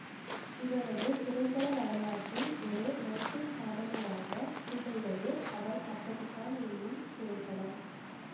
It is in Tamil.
இவரது திரைப்பட வரலாற்றில் ஒரு மைல்கல் சாதனையாகத் திகழ்வது அவள் அப்படித்தான் என்னும் திரைப்படம்